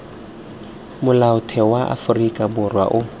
molaotheo wa aforika borwa o